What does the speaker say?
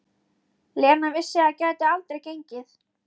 Lena vissi að það gæti aldrei gengið.